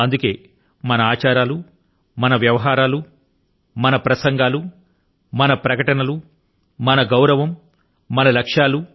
అందుకే మన ఆచారాలు మన వ్యవహారాలు మన ప్రసంగాలు మన ప్రకటనలు మన గౌరవం మన లక్ష్యాలు